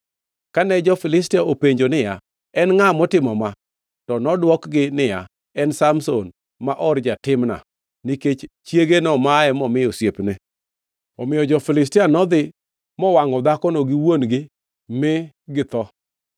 Kane jo-Filistia openje niya, “En ngʼa motimo ma?” To nodwokgi niya, “En Samson, ma or ja-Timna, nikech chiege nomaye momi osiepne.” Omiyo jo-Filistia nodhi mowangʼo dhakono gi wuon-gi mi githo.